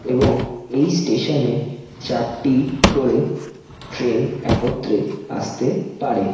এবং এই স্টেশন এ চারটি করে ট্রেন একত্রে আসতে পারে।